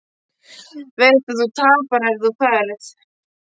Veist að þú tapar ef þú ferð.